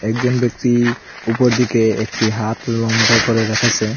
একজন ব্যক্তি উপর দিকে একটি হাত লম্বা করে রেখেছে।